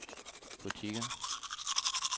butikker